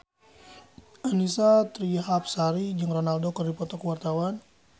Annisa Trihapsari jeung Ronaldo keur dipoto ku wartawan